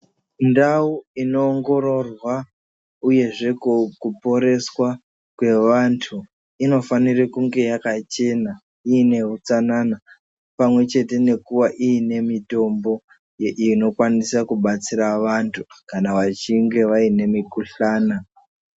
Ndau inoongororwa uyezve kuporeswa kwevantu, inofanire kunge yakachena inehutsanana pamwechete kuva ine mitombo inobatsira vantu kana vachinge vaine mikuhlana.